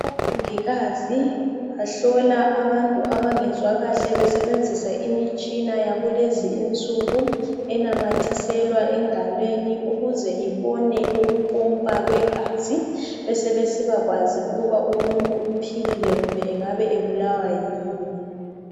Omongikazi bahlola abantu abangezwa kahle besebenzisa imitshina yakulezi insuku enamathiselwa engalweni ukuze ibone ukupompa kwegazi besebesibakwazi ukuba umuntu uphilile kumbe engabe ebulawa yini